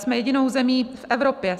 Jsme jedinou zemí v Evropě.